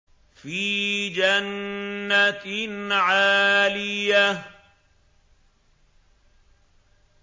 فِي جَنَّةٍ عَالِيَةٍ